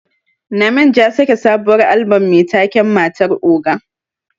Namenj ya sake sabuwar Albom Mai taken 'matar oga'.